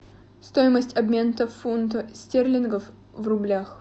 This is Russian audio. стоимость обмена фунтов стерлингов в рублях